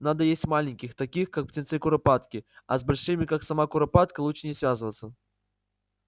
надо есть маленьких таких как птенцы куропатки а с большими как сама куропатка лучше не связываться